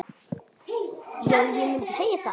Já, ég mundi segja það.